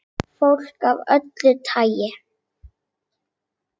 Fólk af öllu tagi.